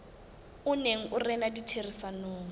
o neng o rena ditherisanong